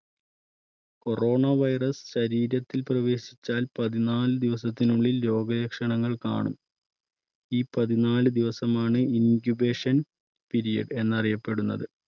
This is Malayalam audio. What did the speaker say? corona virus ശരീരത്തിൽ പ്രവേശിച്ചാൽ പതിനാല് ദിവസത്തിനുള്ളിൽ രോഗ ലക്ഷണങ്ങൾ കാണും ഈ പതിനാല് ദിവസം ആണ് incubation period എന്നറിയപ്പെടുന്നത്.